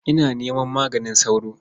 Ina neman maganin sauro?